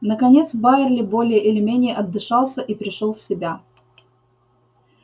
наконец байерли более или менее отдышался и пришёл в себя